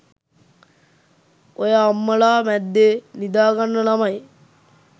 ඔය අම්මලා මැද්දෙ නිදාගන්න ළමයි